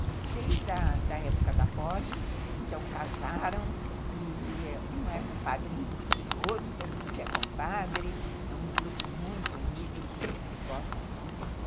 que desde a época da poli, então casaram, e um é padrinho do filho do outro, todo mundo é compadre, é um grupo muito unido, que eles se gostam muito.